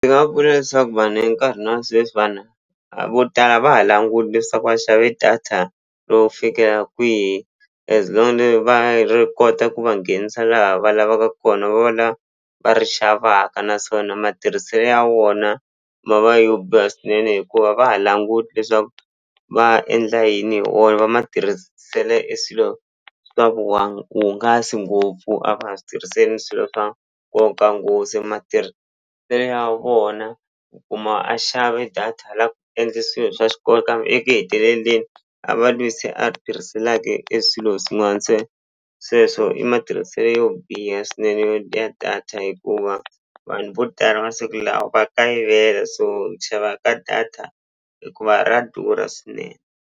Ndzi nga vula leswaku vanhu enkarhini wa sweswi a vo tala a va ha languti leswaku va xave data yo fikela kwihi as va ri kota ku va nghenisa laha va lavaka kona va va la va ri xavaka naswona matirhiselo ya wona ma va yo biha swinene hikuva va ha languti leswaku va endla yini hi wona va matirhisele eswilo swa ngopfu a va ha swi tirhiseni swilo swa nkoka nghozi matirhiselo ya vona u kuma a xave data a la ku endle swilo swa xikolo kambe eku heteleleni a va lweyi se a tirhiselaka e swilo swin'wana se sweswo i matirhiselo yo biha swinene yo dya data hikuva vanhu vo tala masiku lawa va kayivela so eku xava ka data hikuva ra durha swinene.